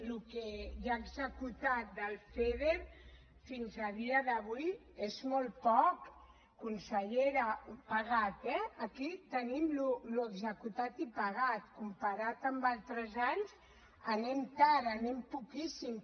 el que hi ha executat del feader fins a dia d’avui és molt poc consellera pagat eh aquí tenim l’executat i pagat comparat amb altres anys anem tard anem poquíssim